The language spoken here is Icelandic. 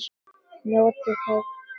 Njótið heil!